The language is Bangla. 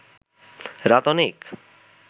রাত অনেক